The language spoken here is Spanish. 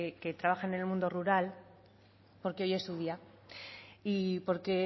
que trabajan en el mundo rural porque hoy es su día y porque